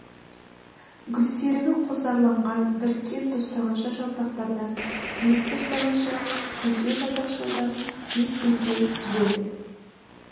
гүлсерігі қосарланған біріккен тостағанша жапырақтардан бес тостағанша күлтежапырақшадан бес күлте түзіледі